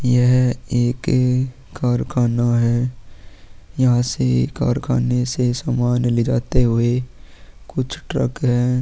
यह एक कारखाना है यहां से कारखाने से सामान ले जाते हुए कुछ ट्रक हैं।